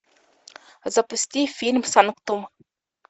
запусти фильм санктум